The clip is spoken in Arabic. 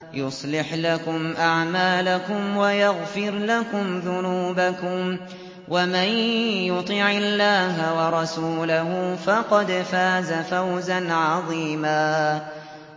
يُصْلِحْ لَكُمْ أَعْمَالَكُمْ وَيَغْفِرْ لَكُمْ ذُنُوبَكُمْ ۗ وَمَن يُطِعِ اللَّهَ وَرَسُولَهُ فَقَدْ فَازَ فَوْزًا عَظِيمًا